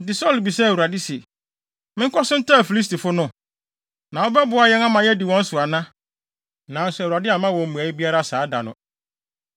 Enti Saulo bisaa Awurade se, “Menkɔ so ntaa Filistifo no? Na wobɛboa yɛn ama yɛadi wɔn so ana?” Nanso Awurade amma wɔn mmuae biara saa da no.